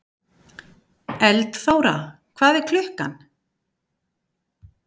Eldþóra, hvað er klukkan?